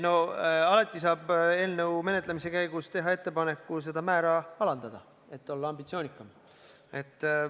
No alati saab eelnõu menetlemise käigus teha ettepaneku seda määra alandada, et olla ambitsioonikam.